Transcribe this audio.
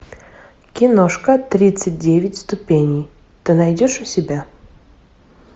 киношка тридцать девять ступеней ты найдешь у себя